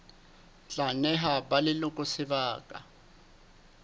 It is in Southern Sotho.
tla neha ba leloko sebaka